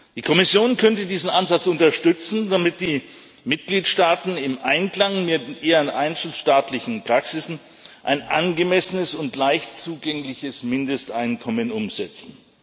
Die Kommission könnte diesen Ansatz unterstützen, damit die Mitgliedstaaten im Einklang mit ihren einzelstaatlichen Praktiken ein angemessenes und leicht zugängliches Mindesteinkommen umsetzen.